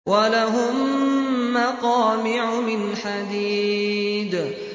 وَلَهُم مَّقَامِعُ مِنْ حَدِيدٍ